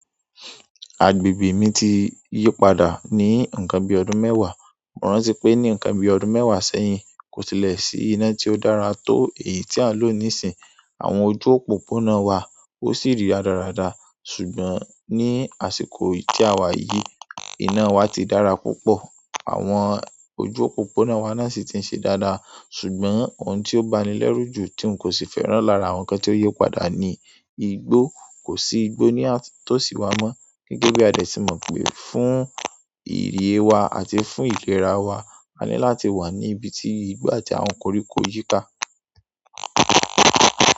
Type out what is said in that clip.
Agbègbè mi ti yí padà ní ǹnkan bí ọdún mẹ́wàá. Mo rántí pé ní ǹnkan bí ọdún mẹ́wàá sẹ́yìn, kò tílẹ̀ sí iná tí ó dára tó èyí tí a ń lò nísínyi. Àwọn ojú òpópónà wa o si ri radarada, ṣùgbọ́n ni àsìkò yi ti a wa yìí, ina wa ti dára púpọ̀. Àwọn ojú òpópónà wa náà sì ti ń ṣe dáadáa. Ṣùgbọ́n ohun tí ó ba mi lẹ́rú jù tí n kò sì fẹ́ràn lára àwọn ǹnkan tí ó yí padà ni igbó. Kò sí igbó ní tòsí wa mọ́. Gẹ́gẹ́ bí a de ti mọ̀ pé fún ìyẹ̀ wa àti fún ìfera wa, a ní láti wà ní ibi tí igbó àti àwọn koríko yí ká.